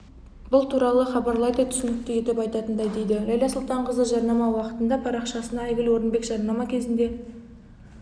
бұл туралы хабарлайды түсінікті етіп айтатындай дейді ләйлә сұлтанқызы жарнама уақытында парақшасына айгүл орынбек жарнама кезінде